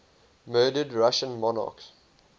murdered russian monarchs